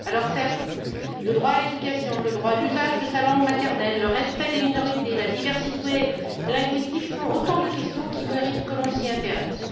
Certes, le droit à l'éducation, le droit à l'usage de sa langue maternelle, le respect des minorités, la diversité linguistique sont autant de questions qui méritent que l'on s'y intéresse.